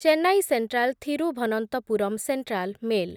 Chennai central Thiruvananthapuram central mail